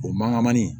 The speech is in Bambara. O mankan man ɲi